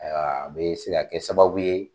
bɛ se ka kɛ sababu ye